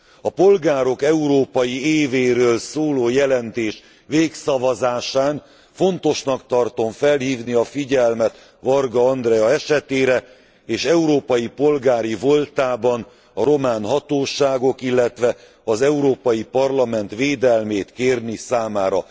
A polgárok európai évéről szóló jelentés végszavazásán fontosnak tartom felhívni a figyelmet Varga Andrea esetére, és európai polgári voltában a román hatóságok, illetve az Európai Parlament védelmét kérni számára.